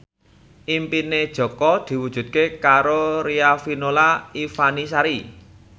impine Jaka diwujudke karo Riafinola Ifani Sari